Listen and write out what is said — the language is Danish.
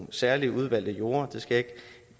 særlige udvalgte jorder jeg skal ikke